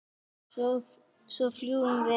Og svo flugum við.